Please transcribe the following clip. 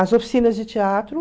As oficinas de teatro.